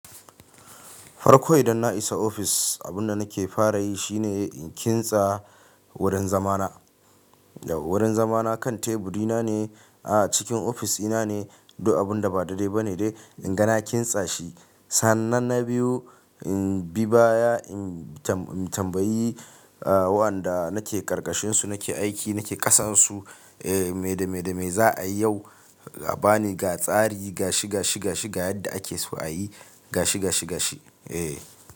Farko idan na isa ofis, abun da nake fara yi shi ne in kintsa wurin zama na. Wurin zama na kan teburi na ne a cikin ofis ina ne. Du abun da ba daidai ba ne dai, in ga na kintsa shi. Sannan na biyu, in bi baya, in tambayi waɗanda nake ƙarƙashin su nake aiki nake ƙasan su me, da me, da me za a yi yau. A ba ni ga tsari, gashi, gashi, gashi ga yadda ake so a yi gashi, gashi, gashi. Eh.